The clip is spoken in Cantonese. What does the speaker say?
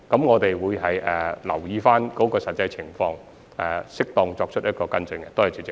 我們會留意相關的實際情況，作出適當的跟進。